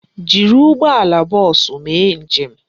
Jiri ụgbọala bọọsụ mee njem!